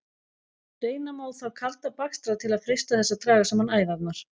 Reyna má þó kalda bakstra til að freista þess að draga saman æðarnar.